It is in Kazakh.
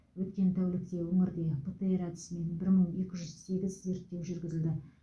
өткен тәулікте өңірде птр әдісімен бір мың екі жүз сегіз зерттеу жүргізілді